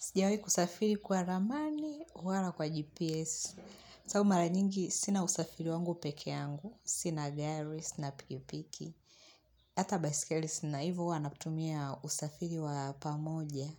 Sijawi kusafiri kwa ramani, huwala kwa GPS. Sababu mara nyingi, sina usafiri wangu peke yangu. Sina gari, sina pikipiki. Hata baiskeli sina hivo, huwa natumia usafiri wa pamoja.